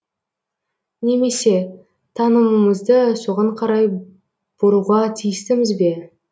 немесе танымымызды соған қарай бұруға тиістіміз бе